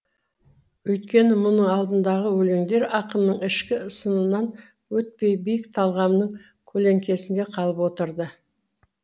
өйткені мұның алдындағы өлеңдер ақынның ішкі сынынан өтпей биік талғамының көлеңкесінде қалып отырды